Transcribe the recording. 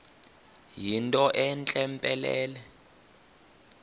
yinto entle mpelele